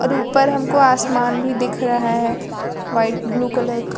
ऊपर हमको आसमान भी दिख रहा है व्हाइट ब्लू कलर क--